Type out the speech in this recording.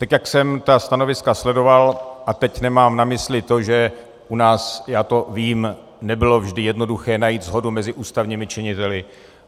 Tak jak jsem ta stanoviska sledoval, a teď nemám na mysli to, že u nás, já to vím, nebylo vždy jednoduché najít shodu mezi ústavními činiteli.